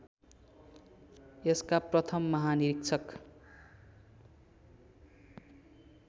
यसका प्रथम महानिरीक्षक